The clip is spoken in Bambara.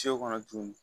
kɔnɔ tuguni